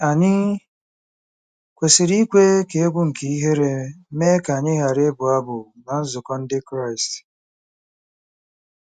Ànyị kwesịrị ikwe ka egwu nke ihere mee ka anyị ghara ịbụ abụ ná nzukọ Ndị Kraịst?